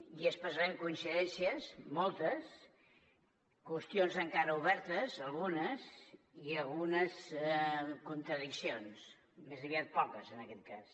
i expressarem coincidències moltes qüestions encara obertes algunes i algunes contradiccions més aviat poques en aquest cas